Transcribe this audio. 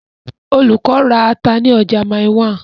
Olùkọ́ ra ata ní ọjà Mile 1.